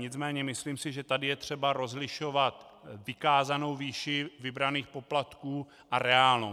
Nicméně myslím si, že tady je třeba rozlišovat vykázanou výši vybraných poplatků a reálnou.